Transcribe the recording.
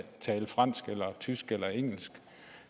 at tale fransk eller tysk eller engelsk